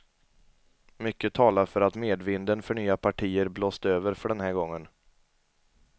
Mycket talar för att medvinden för nya partier blåst över för den här gången.